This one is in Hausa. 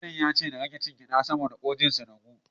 Likita ya ce na rage cin gyaɗa saboda ƙurajen su ragu.